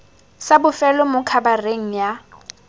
sa bofelo mo khabareng ya